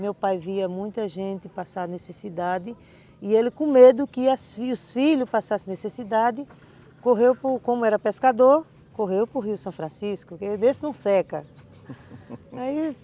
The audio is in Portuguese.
Meu pai via muita gente passar necessidade e ele, com medo que os filhos passassem necessidade, correu, como como era pescador, correu para o rio São Francisco, para ver se não seca